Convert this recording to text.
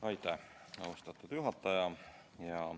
Aitäh, austatud juhataja!